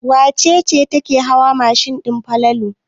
Wace ce take hawa mashin din Falalu?